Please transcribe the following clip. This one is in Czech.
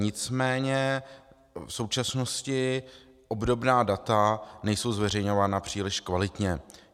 Nicméně v současnosti obdobná data nejsou zveřejňována příliš kvalitně.